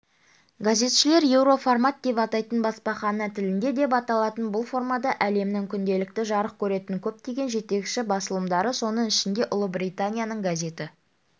газетшілер еуроформат деп атайтын баспахана тілінде деп аталатын бұл формада әлемнің күнделікті жарық көретін көптеген жетекші басылымдары соның ішінде ұлыбританияның газеті